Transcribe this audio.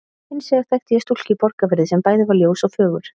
Hins vegar þekkti ég stúlku í Borgarfirði sem bæði var ljós og fögur.